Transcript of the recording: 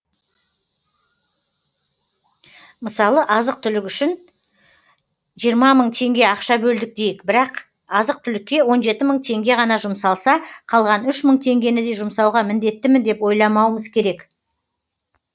мысалы азық түлік үшін жиырма мың теңге ақша бөлдік дейік бірақ азық түлікке он жеті мың теңге ғана жұмсалса қалған үш мың теңгені де жұмсауға міндеттімін деп ойламауымыз керек